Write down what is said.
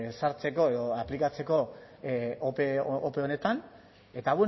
sartzeko edo aplikatzeko ope honetan eta